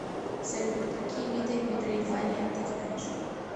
салют какие виды метроидвания ты знаешь